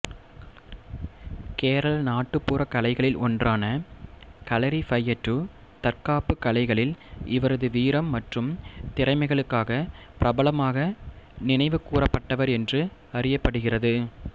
கேரள நாட்டுப்புறக் கலைகளில் ஒன்றான களரிபையட்டு தற்காப்புக் கலையில் இவரது வீரம் மற்றும் திறமைகளுக்காக பிரபலமாக நினைவுகூரப்பட்டவர் என்று அறியப்படுகிறது